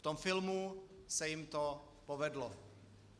V tom filmu se jim to povedlo.